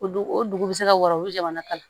O dugu o dugu bɛ se ka wara o jamana ka la